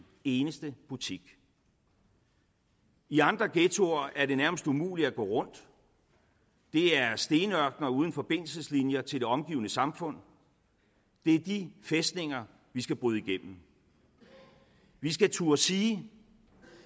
eneste butik i andre ghettoer er det nærmest umuligt at gå rundt det er stenørkener uden forbindelseslinjer til det omgivende samfund det er de fæstninger vi skal bryde igennem vi skal turde sige